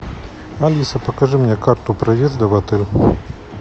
алиса покажи мне карту проезда в отель